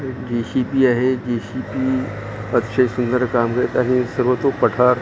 हे जेसीबी आहे जेसीबी अच्छे सुंदर काम करत आहे सर्व तो पठार --